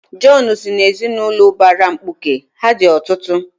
Jọn si n'ezinụlọ ụbara mkpuke, ha dị ọtụtụ.